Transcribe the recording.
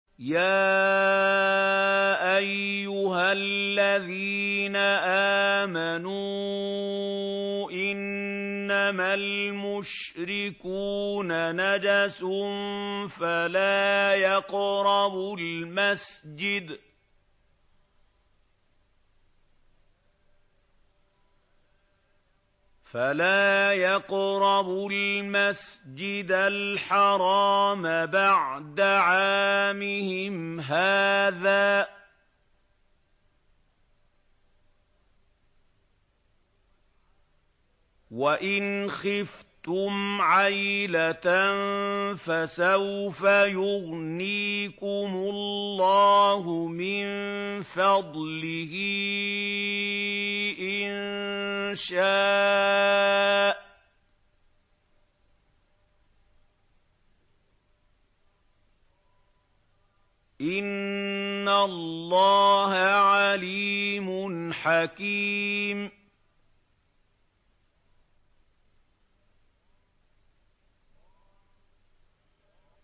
يَا أَيُّهَا الَّذِينَ آمَنُوا إِنَّمَا الْمُشْرِكُونَ نَجَسٌ فَلَا يَقْرَبُوا الْمَسْجِدَ الْحَرَامَ بَعْدَ عَامِهِمْ هَٰذَا ۚ وَإِنْ خِفْتُمْ عَيْلَةً فَسَوْفَ يُغْنِيكُمُ اللَّهُ مِن فَضْلِهِ إِن شَاءَ ۚ إِنَّ اللَّهَ عَلِيمٌ حَكِيمٌ